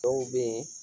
Dɔw be yen